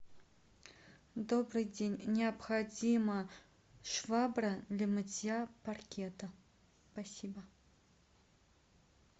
добрый день необходима швабра для мытья паркета спасибо